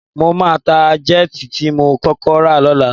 Mo máa ta jẹ́ẹ̀tì tí mo kọ́kọ́ rà lọ́la